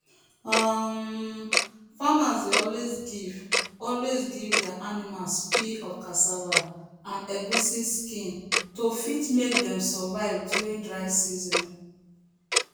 um farmers dey always give always give their animals peel of cassava and egusi skin to fit make dem survive during dry season